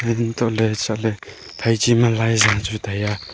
untohley chatley phaichi ma laiza chu tai a.